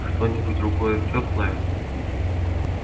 что-нибудь другое тёплое